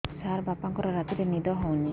ସାର ବାପାଙ୍କର ରାତିରେ ନିଦ ହଉନି